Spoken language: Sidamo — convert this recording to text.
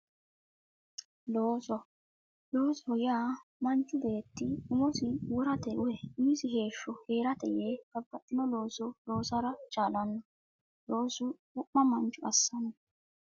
Looso loosoho yaa manchu beetti umosi worate woyi umisi heeshsho heerate yee babbaxxino looso loosara chaalanno loosu wo'ma mancho assanno